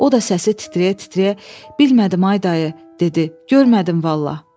O da səsi titrəyə-titrəyə "Bilmədim, ay dayı", dedi, "Görmədim vallah!"